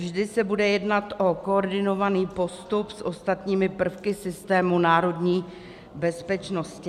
Vždy se bude jednat o koordinovaný postup s ostatními prvky systému národní bezpečnosti.